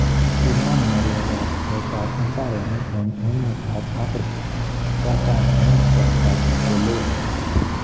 Kinaam ng'aleek ab pcheet ab ibareniik en emet ab Afrika murto katam en kasrtab ukoloni.